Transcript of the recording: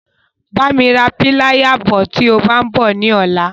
Bá mi ra píláyà bọ̀ tí o bá ń bọ̀ ní ọ̀la.